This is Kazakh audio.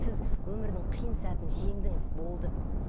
сіз өмірдің қиын сәтін жеңдіңіз болды